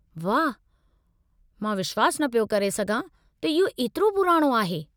वाहु, मां विश्वासु न पियो करे सघां त इहो एतिरो पुराणो आहे।